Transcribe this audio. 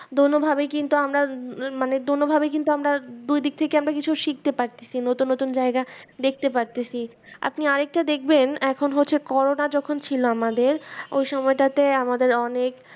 দোনো ভাবে কিন্তু আমরা উহ মানে দোনো ভাবে কিন্তু আমরা দুই দিক থেকে আমরা কিছু শিখতে পারছি নতুন নতুন জায়গা দেখতে পাইতেছি আপনি আরেকটা দেখবেন এখন হচ্ছে করুনা যখন ছিল আমাদের ও সময়টাতে আমাদের অনেক